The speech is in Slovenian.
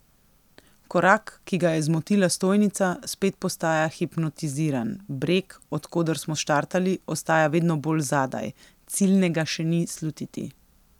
Korak, ki ga je zmotila stojnica, spet postaja hipnotiziran, breg, od koder smo štartali, ostaja vedno bolj zadaj, ciljnega še ni slutiti.